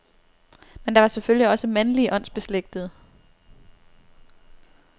Men der var selvfølgelig også mandlige åndsbeslægtede.